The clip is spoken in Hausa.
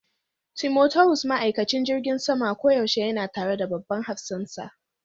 Timotawus ma'aikacin jirgin sama koyaushe yana tare da babban hafsansa.